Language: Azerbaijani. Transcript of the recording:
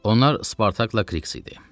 Onlar Spartakla Kiks idi.